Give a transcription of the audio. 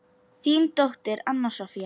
Þín dóttir, Anna Soffía.